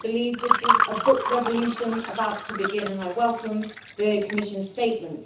I believe this is a book revolution about to begin, and I welcome the Commission statement.